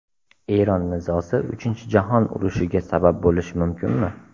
Eron nizosi Uchinchi jahon urushiga sabab bo‘lishi mumkinmi?